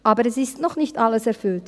Aber es ist noch nicht alles erfüllt.